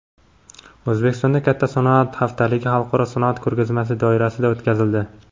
O‘zbekistonda katta sanoat haftaligi xalqaro sanoat ko‘rgazmasi doirasida o‘tkazildi.